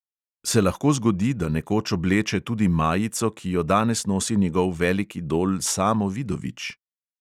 Se lahko zgodi, da nekoč obleče tudi majico, ki jo danes nosi njegov velik idol samo vidovič?